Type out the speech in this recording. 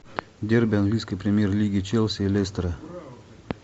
дерби английской премьер лиги челси и лестера